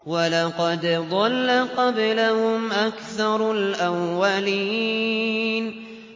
وَلَقَدْ ضَلَّ قَبْلَهُمْ أَكْثَرُ الْأَوَّلِينَ